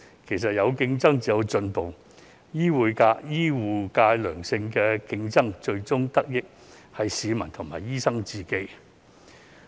其實有競爭才有進步，醫護界有良性競爭，最終得益的是市民和醫生。